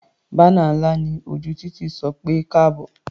Bánà ńlá ní ojú títì sọ pé "káàbọ̀".